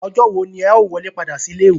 Ọjọ́ wo ni ẹ ó wọlé padà sí ilé ìwé?